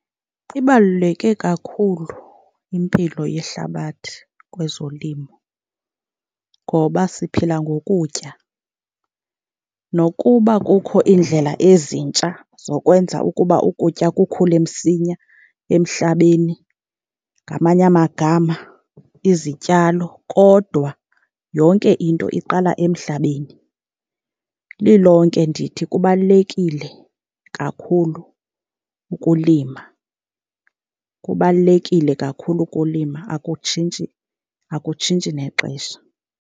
Ibaluleke kakhulu impilo yehlabathi kwezolimo ngoba siphila ngokutya. Nokuba kukho iindlela ezintsha zokwenza ukuba ukutya kukhule msinya emhlabeni, ngamanye amagama izityalo, kodwa yonke into iqala emhlabeni. Lilonke ndithi kubalulekile kakhulu ukulima, kubalulekile kakhulu ukulima akutshintshi, akutshintshi nexesha.